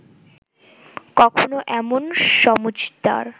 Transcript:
কখনো এমন সমজদার